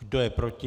Kdo je proti?